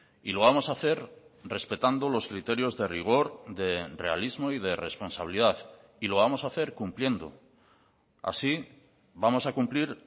y lo vamos a hacer respetando los criterios de rigor de realismo y de responsabilidad y lo vamos a hacer cumpliendo así vamos a cumplir